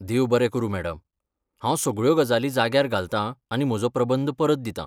देव बरें करूं मॅडम, हांव सगळ्यो गजाली जाग्यार घालतांआनी म्हजो प्रबंध परत दितां.